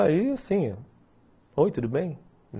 Aí, assim... Oi, tudo bem?